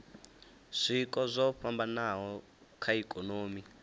zwiko zwo fhambanaho kha ikonomi